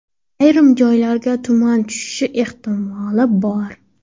Ayrim joylarga tuman tushishi ehtimoli bor.